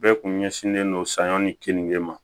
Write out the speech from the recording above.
Bɛɛ kun ɲɛsinnen don saɲɔ ni kenige ma